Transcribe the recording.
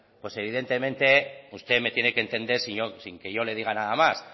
pues evidentemente usted me tiene que entender sin que yo le diga nada más